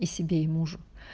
и себе и мужу